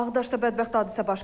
Ağdaşda bədbəxt hadisə baş verib.